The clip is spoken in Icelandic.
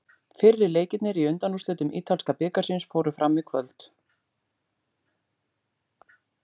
Fyrri leikirnir í undanúrslitum ítalska bikarsins fóru fram í kvöld.